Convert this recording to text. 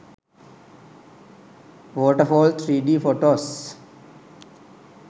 waterfall 3d photos